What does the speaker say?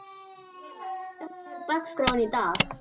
Sæla, hvernig er dagskráin í dag?